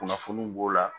Kunnafoniw b'o la